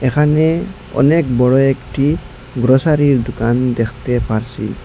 এখানে অনেক বড় একটি গ্রসারির দোকান দেখতে পারসি।